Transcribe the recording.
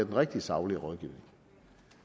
rigtige saglige rådgivning